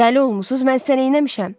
Dəli olmusunuz, mən sənə neynəmişəm?